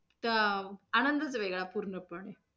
चा आनंदच वेगळा पूर्णपणे.